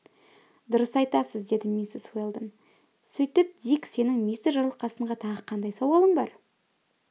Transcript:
дұрыс айтасыз деді миссис уэлдон сөйтіп дик сенің мистер жарылқасынға тағы қандай сауалың бар